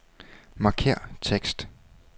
Markér tekst.